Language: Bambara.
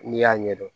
N'i y'a ɲɛdɔn